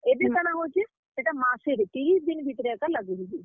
ଏବେ କାଣା ହଉଛେ? ହେଟା ମାସେରେ, ତିରିଶ୍ ଦିନ୍ ଭିତ୍ ରେ ଏକା ଲାଗୁ ହେଇ ଯାଉଛେ।